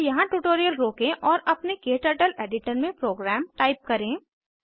कृपया यहाँ ट्यूटोरियल रोकें और अपने क्टर्टल एडिटर में प्रोग्राम टाइप करें